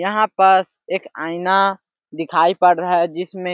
यहां पास एक आईना दिखाई पड़ रहा है जिसमे --